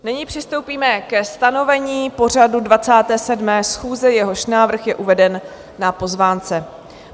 Nyní přistoupíme ke stanovení pořadu 27. schůze, jehož návrh je uveden na pozvánce.